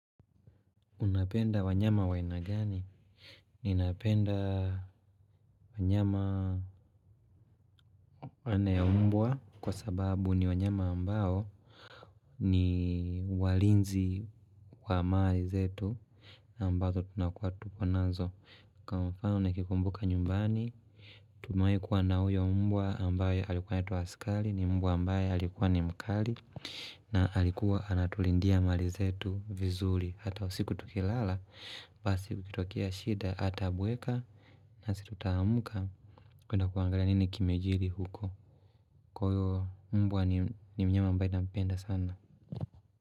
Unapenda wanyama wa aina gani? Ninapenda wanyama aina ya mbwa kwa sababu ni wanyama ambao ni walinzi wa mali zetu ambazo tunakua tupo nazo. Kwa mfano nikikumbuka nyumbani, tumewahi kuwa na huyo mbwa ambaye alikuwa anaitwa askari, ni mbwa ambaye alikuwa ni mkali, na alikuwa anatulindia mali zetu vizuri Hata usiku tukilala Basi ikitokea shida ata bweka na sisi tutaamka kwenda kuangalia nini kimejili huko Kwa hiyo mbwa ni mnyama ambaye nampenda sana.